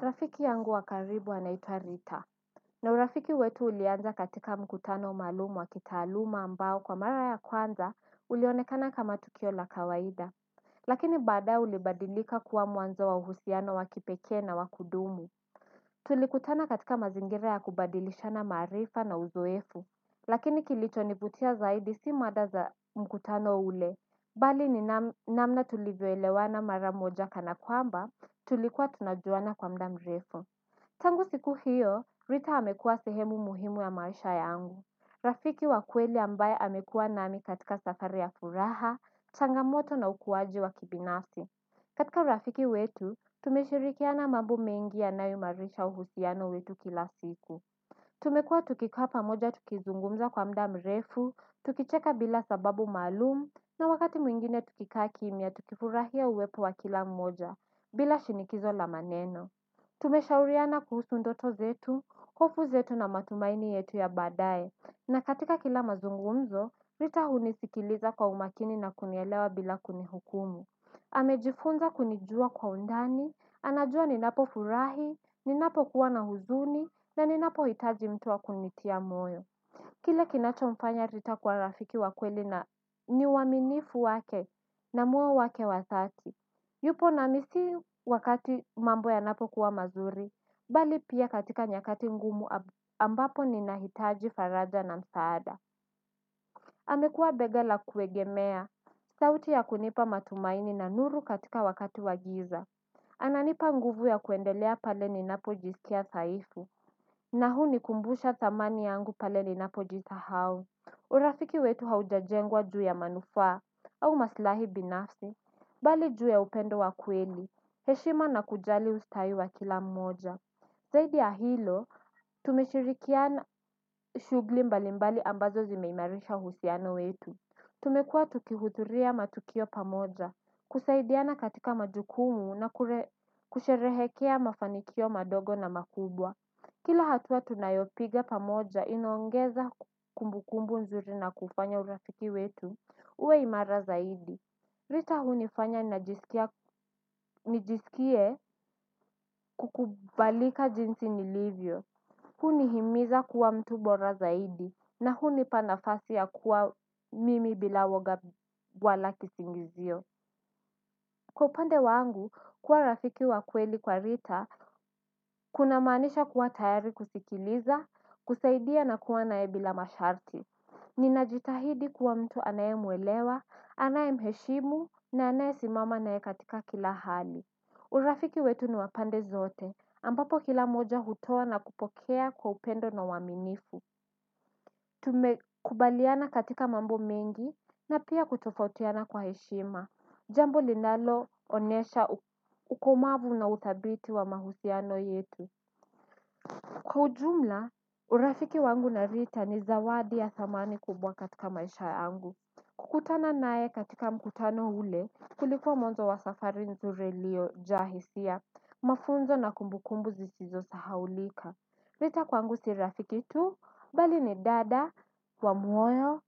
Rafiki yangu wa karibu anaitwa rita na urafiki wetu ulianza katika mkutano maalumu wa kitaaluma ambao kwa mara ya kwanza ulionekana kama tukio la kawaida lakini baadaye ulibadilika kuwa mwanzo wa uhusiano wakipekee na wa kudumu tulikutana katika mazingire ya kubadilishana marifa na uzoefu lakini kilicho nivutia zaidi si mada za mkutano ule bali ni namna tulivyoelewana mara moja kana kwamba tulikuwa tunajuana kwa muda mrefu. Tangu siku hiyo, Rita amekuwa sehemu muhimu ya maisha yangu. Rafiki wa kweli ambaye amekua nami katika safari ya furaha, changamoto na ukuwaji wa kibinasi. Katika rafiki wetu, tumeshirikiana mambo mengi yanayo marisha uhusiano wetu kila siku. Tumekua tukikaa pamoja tukizungumza kwa muda mrefu, tukicheka bila sababu maalum, na wakati mwingine tukikaa kimya tukifurahia uwepo wa kila mmoja, bila shinikizo la maneno. Tumeshauriana kuhusu ndoto zetu, hofu zetu na matumaini yetu ya badae, na katika kila mazungumzo, rita hunisikiliza kwa umakini na kunielewa bila kunihukumu. Amejifunza kunijua kwa undani, anajua ninapo furahi, ninapo kuwa na huzuni, na ninapo hitaji mtu wa kunitia moyo. Kile kinacho mfanya rita kwa rafiki wa kweli ni uaminifu wake na muo wake wa dhati. Yupo nami si wakati mambo ya napo kuwa mazuri, bali pia katika nyakati ngumu ambapo ninahitaji faraja na msaada amekua bega la kuegemea, sauti ya kunipa matumaini na nuru katika wakati wa giza. Ananipa nguvu ya kuendelea pale ninapo jisikia saifu na huu nikumbusha thamani yangu pale ninapo jisahau. Urafiki wetu haujajengwa juu ya manufaa au maslahi binafsi. Bali juu ya upendo wa kweli, heshima na kujali ustayi wa kila mmoja. Zaidi ya hilo, tumeshirikiana shughuli mbalimbali ambazo zimeimarisha husiano wetu. Tumekua tukihuhudhuria matukio pamoja, kusaidiana katika majukumu na kusherehekea mafanikio madogo na makubwa. Kila hatua tunayopige pamoja inaongeza kumbukumbu nzuri na kufanya urafiki wetu, uwe imara zaidi. Rita hunifanya nijisikie kukubalika jinsi nilivyo. Hunihimiza kuwa mtu bora zaidi na huni pa nafasi ya kuwa mimi bila uoga wala kisingi zio. Kwa upande wangu, kuwa rafiki wa kweli kwa rita, kunamaanisha kuwa tayari kusikiliza, kusaidia na kuwa nae bila masharti. Ninajitahidi kuwa mtu anayemuelewa, anaye mheshimu, na anaye simama nae katika kila hali. Urafiki wetu ni wa pande zote ambapo kila moja hutoa na kupokea kwa upendo na uaminifu. Tumekubaliana katika mambo mengi na pia kutofautiana kwa heshima. Jambo linalo onesha ukumavu na uthabit wa mahusiano yetu. Kwa ujumla urafiki wangu na Rita ni zawadi ya thamani kubwa katika maisha angu. Kukutana nae katika mkutano ule kulikuwa mwanzo wa safari iliyo jaa hisia mafunzo na kumbukumbu zisizo sahaulika Rita kwangu si rafiki tu bali ni dada wa moyo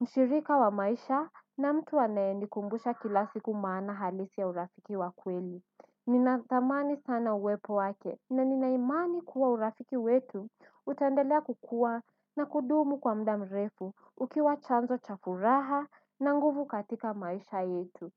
mshirika wa maisha na mtu anaye nikumbusha kila siku maana halisi ya urafiki wa kweli. Nina thamani sana uwepo wake na nina imani kuwa urafiki wetu utandelea kukua na kudumu kwa muda mrefu ukiwa chanzo cha furaha na nguvu katika maisha yetu.